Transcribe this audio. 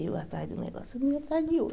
Eu atrás de um negócio, ele atrás de outro.